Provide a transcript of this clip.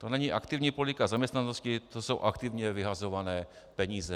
To není aktivní politika zaměstnanosti, to jsou aktivně vyhazované peníze.